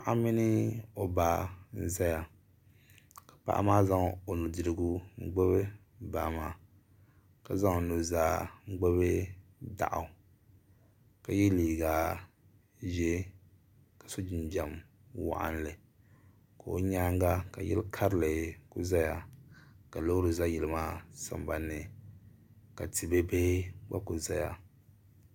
paɣ' mini o baa n zaya ka paɣ' maa zaŋ o nudɛrigu n gbabi baa maa ka zaŋ nuzaa n gbabi taɣigu ka yɛ liga ʒiɛ ka su jinjam waɣili ka o nyɛŋa yili kari zaya ka lori za yili maa sanbani ka tɛbihi gba kuli zaya